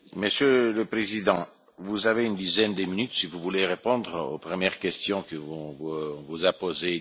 Monsieur le Président, vous avez une dizaine de minutes si vous voulez répondre aux premières questions que les groupes vous ont posées.